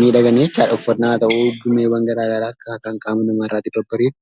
miidhaganii jechuudha; uffannaa haata'u gumeewwan garaa garaa akkaataa qaama namaarra bareedu.